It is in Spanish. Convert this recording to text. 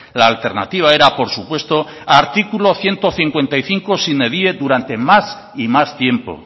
la alternativa era por supuesto artículo ciento cincuenta y cinco sine die durante más y más tiempo